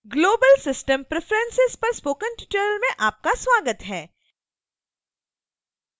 global system preferences पर spoken tutorial में आपका स्वागत है